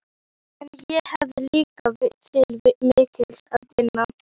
En ég hef líka til mikils að vinna.